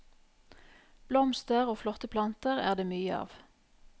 Blomster og flotte planter er det mye av.